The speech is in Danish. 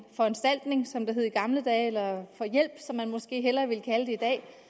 foranstaltning som det hed i gamle dage eller hjælp som man måske hellere vil kalde det